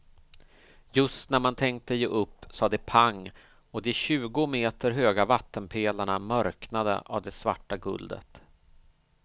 Just när man tänkte ge upp sa det pang och de tjugo meter höga vattenpelarna mörknade av det svarta guldet.